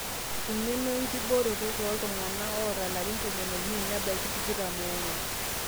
eng'eno enkibooroto tooltung'anak oota ilarin tomon oimiet nebaiki tikitam oong'wan